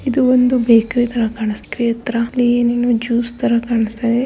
ಇದು ಒಂದು ಬೇಕರಿ ತರ ಕಾಣಿಸುತ್ತಾ ಇದೆ. ಇದರಲ್ಲಿ ನೀರು ಜ್ಯೂಸ್ ತರ ಕಾಣಿಸುತ್ತಾ ಇದೆ.